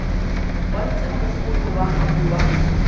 bontsha mogolo wa gago wa